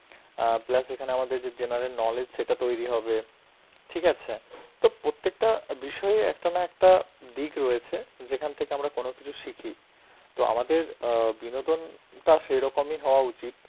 অ্যাঁ plus এখানে আমাদের যে general knowledge, সেটা তৈরি হবে, ঠিক আছে. তো প্রত্যেকটা বিষয়ই একটা না একটা দিক রয়েছে যেখান থেকে আমরা কোন কিছু শিখি. তো আমাদের অ্যাঁ বিনোদনটা সেরকমই হওয়া উচিত,